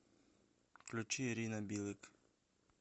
включи ирина билык